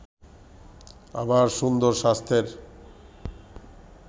আবার সুন্দর স্বাস্থ্যের